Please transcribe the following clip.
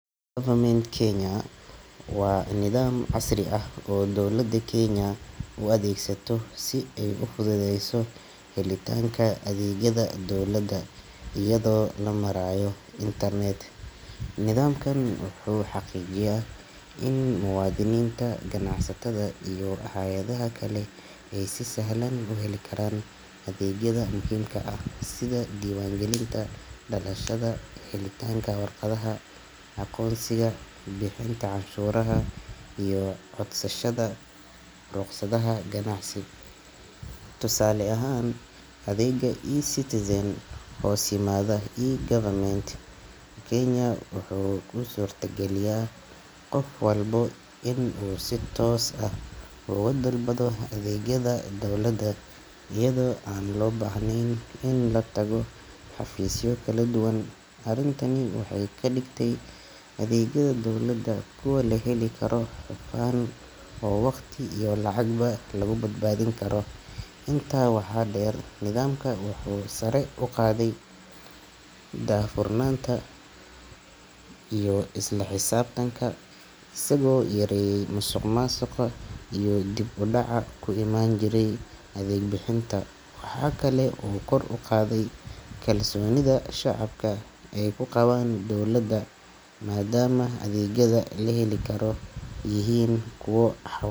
E-Government Kenya waa nidaam casri ah oo dowladda Kenya u adeegsato si ay u fududeyso helitaanka adeegyada dowladda iyadoo loo marayo internet. Nidaamkan wuxuu xaqiijiyaa in muwaadiniinta, ganacsatada iyo hay’adaha kale ay si sahlan u heli karaan adeegyada muhiimka ah sida diiwaangelinta dhalashada, helitaanka waraaqaha aqoonsiga, bixinta canshuuraha, iyo codsashada ruqsadaha ganacsi. Tusaale ahaan, adeega eCitizen ee hoos yimaada E-Government Kenya wuxuu u suurta geliyaa qof walba inuu si toos ah uga dalbado adeegyada dowladda iyadoo aan loo baahnayn in la tago xafiisyo kala duwan. Arrintani waxay ka dhigtay adeegyada dowladda kuwo la heli karo, hufan oo waqti iyo lacagba lagu badbaadin karo. Intaa waxaa dheer, nidaamka wuxuu sare u qaaday daahfurnaanta iyo isla xisaabtanka, isagoo yareeyey musuqmaasuqa iyo dib u dhaca ku imaan jiray adeeg bixinta. Waxa kale oo uu kor u qaaday kalsoonida shacabka ay ku qabaan dowladooda, maadaama adeegyada la heli karo yihiin kuwo xawaare.